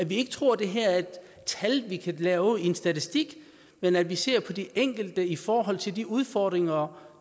vi ikke tror at det her er et tal vi kan lave ud fra en statistik men at vi ser på de enkelte i forhold til de udfordringer og